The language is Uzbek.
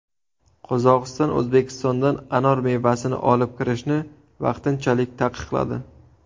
Qozog‘iston O‘zbekistondan anor mevasini olib kirishni vaqtinchalik taqiqladi.